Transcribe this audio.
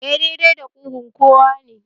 Eh, dai dai da kugun kowa nake